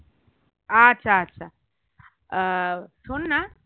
আচ্ছা আচ্ছা আহ শোন না